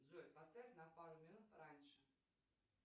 джой поставь на пару минут раньше